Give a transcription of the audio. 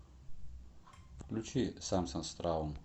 включи самсас траум